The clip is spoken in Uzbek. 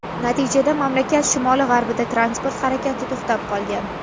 Natijada mamlakat shimoli-g‘arbida transport harakati to‘xtab qolgan.